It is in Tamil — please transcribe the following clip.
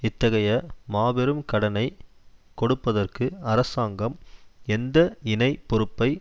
இத்தகைய மாபெரும் கடனை கொடுப்பதற்கு அரசாங்கம் எந்த இணைப் பொறுப்பை